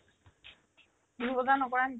বিহুৰ বজাৰ নকৰা নেকি ?